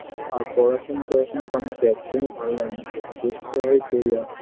আর পড়াশোনা টরাশোনা তো আমাকে একদমই ভালো লাগে না পড়তে হয় পড়ি আর